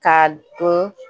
Ka dun